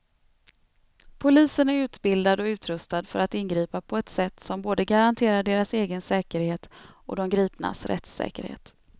Polisen är utbildad och utrustad för att ingripa på ett sätt som både garanterar deras egen säkerhet och de gripnas rättssäkerhet.